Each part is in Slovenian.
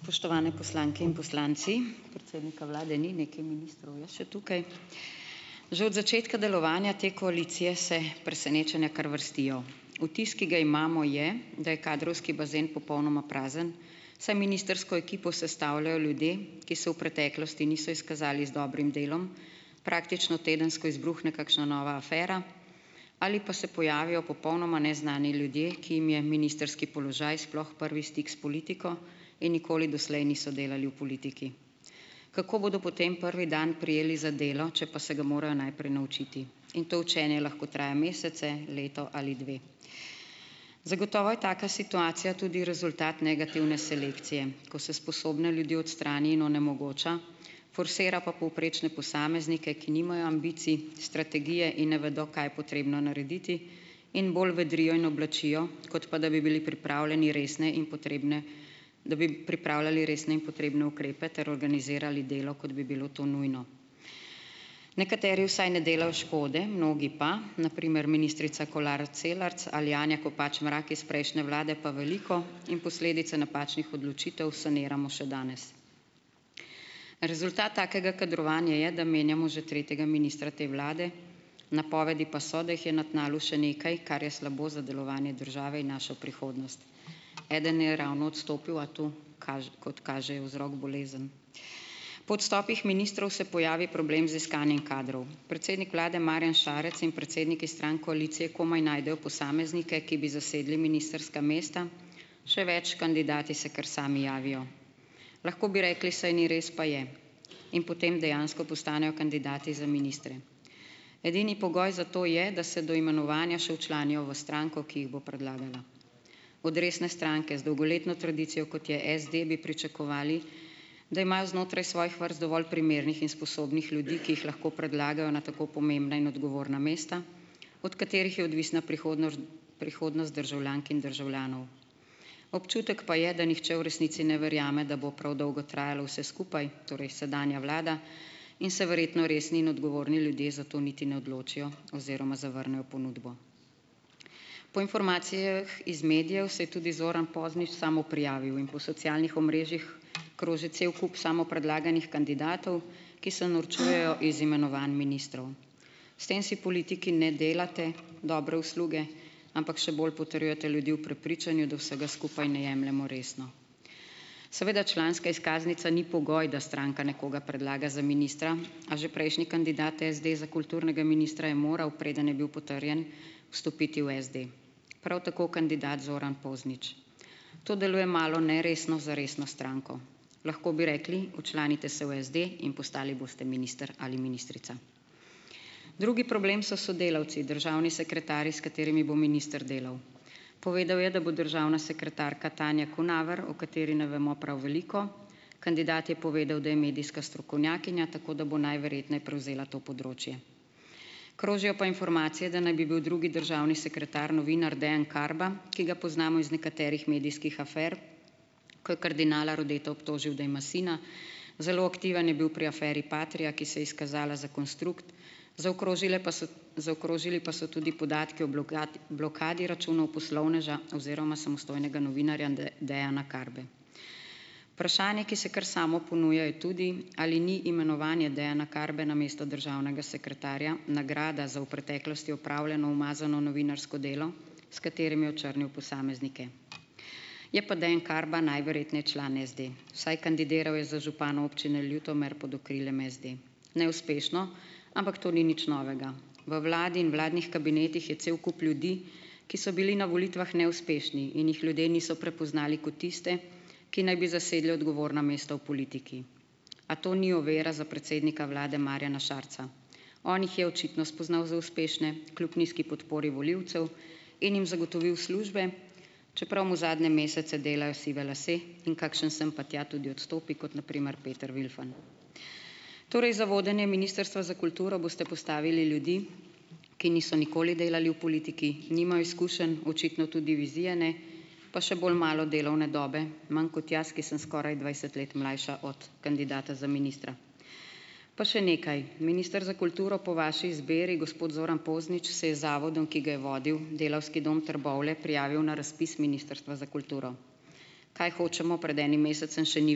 Spoštovane poslanke in poslanci! Predsednika vlade ni, nekaj ministrov je še tukaj. Že od začetka delovanja te koalicije se presenečenja kar vrstijo. Vtis, ki ga imamo, je, da je kadrovski bazen popolnoma prazen, saj ministrsko ekipo sestavljajo ljudje, ki se v preteklosti niso izkazali z dobrim delom, praktično tedensko izbruhne kakšna nova afera ali pa se pojavijo popolnoma neznani ljudje, ki jim je ministrski položaj sploh prvi stik s politiko in nikoli doslej niso delali v politiki. Kako bodo potem prvi dan prijeli za delo, če pa se ga morajo najprej naučiti, in to učenje lahko traja mesece, leto ali dve. Zagotovo je taka situacija tudi rezultat negativne selekcije, ko se sposobne ljudi odstrani in onemogoča, forsira pa povprečne posameznike, ki nimajo ambicij, strategije in ne vedo, kaj je potrebno narediti, in bolj vedrijo in oblačijo, kot pa da bi bili pripravljeni resne in potrebne, da bi pripravljali resne in potrebne ukrepe ter organizirali delo, kot bi bilo to nujno. Nekateri vsaj ne delajo škode, mnogi pa, na primer ministrica Kolar Celarc ali Anja Kopač Mrak iz prejšnje vlade, pa veliko in posledice napačnih odločitev saniramo še danes. Rezultat takega kadrovanja je, da menjamo že tretjega ministra te vlade, napovedi pa so, da jih je na tnalu še nekaj, kar je slabo za delovanje države in našo prihodnost. Eden je ravno odstopil, a tu kot kaže, je vzrok bolezen. Po odstopih ministrov se pojavi problem z iskanjem kadrov, predsednik vlade Marjan Šarec in predsedniki strank koalicije komaj najdejo posameznike, ki bi zasedli ministrska mesta, še več, kandidati se kar sami javijo. Lahko bi rekli: "Saj ni res, pa je." In potem dejansko postanejo kandidati za ministre. Edini pogoj za to je, da se do imenovanja še včlanijo v stranko, ki jih bo predlagala. Od resne stranke z dolgoletno tradicijo, kot je SD, bi pričakovali, da imajo znotraj svojih vrst dovolj primernih in sposobnih ljudi, ki jih lahko predlagajo na tako pomembna in odgovorna mesta, od katerih je odvisna prihodnost državljank in državljanov. Občutek pa je, da nihče v resnici ne verjame, da bo prav dolgo trajalo vse skupaj, torej sedanja vlada, in se verjetno resni in odgovorni ljudje za to niti ne odločijo oziroma zavrnejo ponudbo. Po informacijah iz medijev se je tudi Zoran Poznič samoprijavil in po socialnih omrežjih kroži cel kup samopredlaganih kandidatov, ki se norčujejo iz imenovanj ministrov. S tem si politiki ne delate dobre usluge, ampak še bolj potrjujete ljudi v prepričanju, da vsega skupaj ne jemljemo resno. Seveda članska izkaznica ni pogoj, da stranka nekoga predlaga za ministra, a že prejšnji kandidat SD za kulturnega ministra, je moral, preden je bil potrjen, vstopiti v SD. Prav tako kandidat Zoran Poznič. To deluje malo neresno za resno stranko. Lahko bi rekli: "Včlanite se v SD in postali boste minister ali ministrica." Drugi problem so sodelavci, državni sekretarji, s katerimi bo minister delal. Povedal je, da bo državna sekretarka Tanja Kunaver, o kateri ne vemo prav veliko, kandidat je povedal, da je medijska strokovnjakinja, tako da bo najverjetneje prevzela to področje. Krožijo pa informacije, da naj bi bil drugi državni sekretar novinar Dejan Karba, ki ga poznamo iz nekaterih medijskih afer, ko je kardinala Rodeta obtožil, da ima sina. Zelo aktiven je bil pri aferi Patria, ki se je izkazala za konstrukt, zaokrožile pa so, zaokrožili pa so tudi podatki, blokadi računov poslovneža oziroma samostojnega novinarja Dejana Karbe. Vprašanje, ki se kar samo ponuja, je tudi, ali ni imenovanje Dejana Karbe na mesto državnega sekretarja nagrada za v preteklosti opravljeno umazano novinarsko delo, s katerim je očrnil posameznike. Je pa Dejan Karba najverjetneje član SD, vsaj kandidiral je za župana občine Ljutomer pod okriljem SD. Neuspešno, ampak to ni nič novega. V vladi in vladnih kabinetih je cel kup ljudi, ki so bili na volitvah neuspešni in jih ljudje niso prepoznali ko tiste, ki naj bi zasedli odgovorna mesta v politiki. A to ni ovira za predsednika vlade Marjana Šarca. On jih je očitno spoznal za uspešne, kljub nizki podpori volivcev in jim zagotovil službe, čeprav mu zadnje mesece delajo sive lase, in kakšen sem pa tja tudi odstopi, kot na primer Peter Vilfan. Torej, za vodenje ministrstva za kulturo boste postavili ljudi, ki niso nikoli delali v politiki, nimajo izkušenj, očitno tudi vizije ne, pa še bolj malo delovne dobe, manj kot jaz, ki sem skoraj dvajset let mlajša od kandidata za ministra. Pa še nekaj. Minister za kulturo po vaši izbiri, gospod Zoran Poznič, se je z zavodom, ki ga je vodil, Delavski dom Trbovlje, prijavil na razpis ministrstva za kulturo. Kaj hočemo. Pred enim mesecem še ni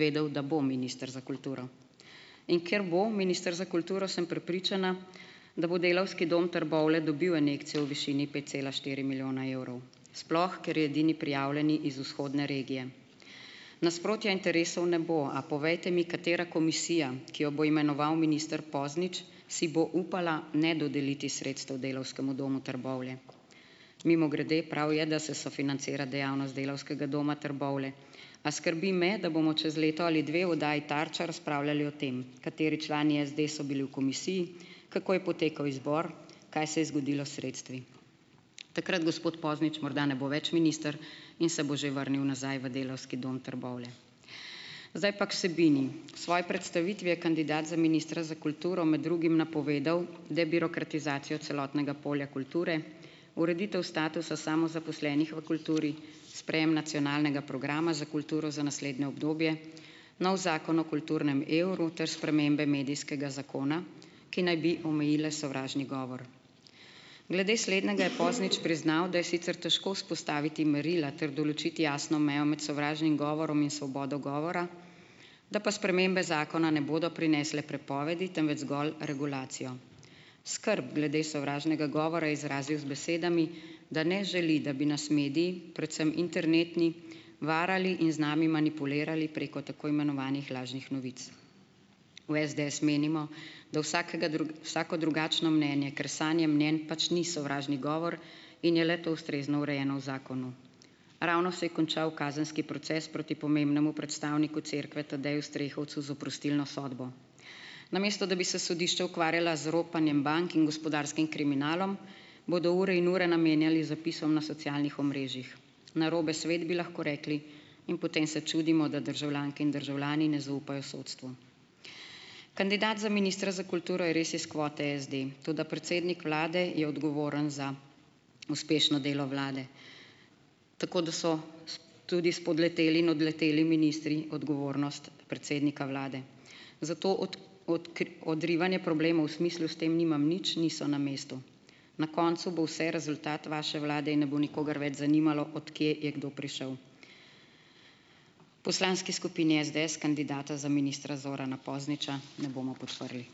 vedel, da bo minister za kulturo. In ker bo minister za kulturo, sem prepričana, da bo Delavski dom Trbovlje dobil injekcijo v višini pet cela štiri milijona evrov, sploh ker je edini prijavljeni iz vzhodne regije. Nasprotja interesov ne bo, a povejte mi, katera komisija, ki jo bo imenoval minister Poznič, si bo upala ne dodeliti sredstev Delavskemu domu Trbovlje. Mimogrede, prav je, da se sofinancira dejavnost Delavskega doma Trbovlje. A skrbi me, da bomo čez leto ali dve v oddaji Tarča razpravljali o tem, kateri člani SD so bili v komisiji, kako je potekal izbor, kaj se je zgodilo s sredstvi. Takrat gospod Poznič morda ne bo več minister in se bo že vrnil nazaj v Delavski dom Trbovlje. Zdaj pa k vsebini. V svoji predstavitvi je kandidat za ministra za kulturo med drugim napovedal debirokratizacijo celotnega polja kulture, ureditev statusa samozaposlenih v kulturi, sprejem nacionalnega programa za kulturo za naslednje obdobje, novi zakon o kulturnem evru ter spremembe medijskega zakona, ki naj bi omejile sovražni govor. Glede slednjega je Poznič priznal, da je sicer težko vzpostaviti merila ter določiti jasno mejo med sovražnim govorom in svobodo govora, da pa spremembe zakona ne bodo prinesle prepovedi, temveč zgolj regulacijo. Skrb glede sovražnega govora je izrazil z besedami, da ne želi, da bi nas mediji, predvsem internetni, varali in z nami manipulirali preko tako imenovanih lažnih novic. V SDS menimo, da vsako drugačno mnenje, ker sanje mnenj pač ni sovražni govor, in je le to ustrezno urejeno v zakonu. Ravno se je končal kazenski proces proti pomembnemu predstavniku cerkve Tadeju Strehovcu z oprostilno sodbo. Namesto da bi se sodišča ukvarjala z ropanjem bank in gospodarskim kriminalom, bodo ure in ure namenjali zapisom na socialnih omrežjih. Narobe svet, bi lahko rekli, in potem se čudimo, da državljanke in državljani ne zaupajo sodstvu. Kandidat za ministra za kulturo je res iz kvote SD, toda predsednik vlade je odgovoren za uspešno delo vlade. Tako da so tudi spodleteli in odleteli ministri odgovornost predsednika vlade. Odrivanje problemov v smislu, s tem nimam nič, niso na mestu. Na koncu bo vse rezultat vaše vlade in ne bo nikogar več zanimalo, od kje je kdo prišel. Poslanski skupini SDS kandidata za ministra Zorana Pozniča ne bomo podprli.